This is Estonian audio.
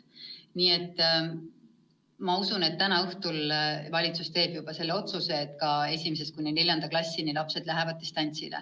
Nii et usutavasti täna õhtul valitsus teeb otsuse, et ka 1.–4. klassi lapsed lähevad distantsõppele.